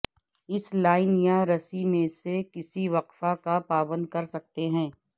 اس line یا رسی میں سے کسی وقفہ کا پابند کر سکتے ہیں